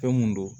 Fɛn mun don